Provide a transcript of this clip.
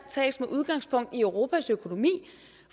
tages med udgangspunkt i europas økonomi